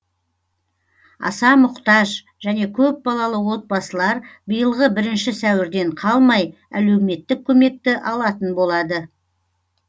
аса мұқтаж және көп балалы отбасылар биылғы бірінші сәуірден қалмай әлеуметтік көмекті алатын болады